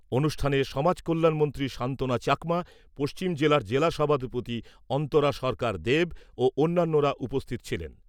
অনুষ্ঠানে সমাজকল্যাণ মন্ত্রী সান্ত্বনা চাকমা, পশ্চিম জেলার জেলা সভাধিপতি অন্তরা সরকার দেব ও অন্যান্যরা উপস্থিত ছিলেন।